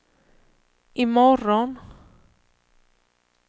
imorgon